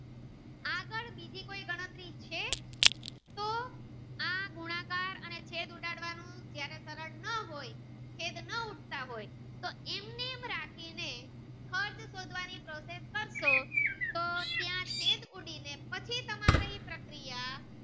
અને છેદ ઉડાડવાનું જયારે કારણ ના હોય છેદ ના ઉડતા હોય તો એમને એમ રાખી ને અર્થ શોધવાની કોસીસ કારસો તો ત્યાં છેદ ઉડીને પછી તમારી એ પ્રક્રિયા.